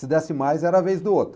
Se desse mais, era a vez do outro.